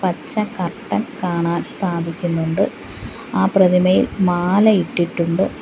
പച്ച കർട്ടൻ കാണാൻ സാധിക്കുന്നുണ്ട് ആ പ്രതിമയിൽ മാല ഇട്ടിട്ടുണ്ട്.